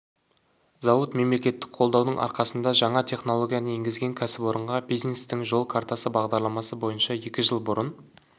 зауыт мемлекеттік қолдаудың арқасында жаңа технологияны енгізген кәсіпорынға бизнестің жол картасы бағдарламасы бойынша екі жыл бұрын